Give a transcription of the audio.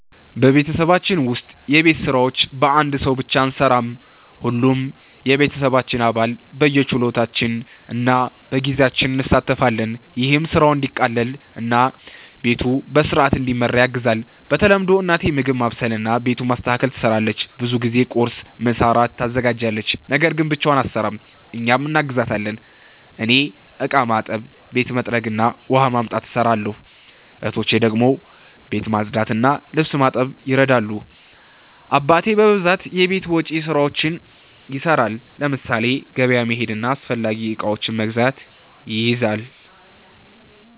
በቤተሰባችን ውስጥ የቤት ስራዎች በአንድ ሰው ብቻ አንሠራም። ሁሉም የቤተሰባችን አባል በየችሎታችን እና በጊዜያችን እንሣተፋለን። ይህም ስራው እንዲቀላቀል እና ቤቱ በሥርዓት እንዲመራ ያግዛል። በተለምዶ እናቴ ምግብ ማብሰልና ቤቱን ማስተካከል ትሰራለች። ብዙ ጊዜ ቁርስ፣ ምሳና እራት ታዘጋጃለች። ነገር ግን ብቻዋን አትሰራም፤ እኛም እናግዛታለን። እኔ እቃ ማጠብ፣ ቤት መጥረግ እና ውሃ ማምጣት እሰራለሁ። እህቶቼ ደግሞ ቤት ማጽዳትና ልብስ ማጠብ ይረዳሉ። አባቴ በብዛት የቤት ውጭ ስራዎችን ይሰራል፤ ለምሳሌ ገበያ መሄድና አስፈላጊ እቃዎችን መግዛት ይይዛል።